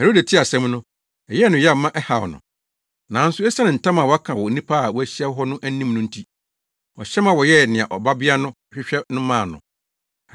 Herode tee asɛm no, ɛyɛɛ no yaw ma ɛhaw no. Nanso esiane ntam a waka wɔ nnipa a wɔahyia hɔ no anim no nti, ɔhyɛ ma wɔyɛɛ nea ababaa no hwehwɛ no maa no.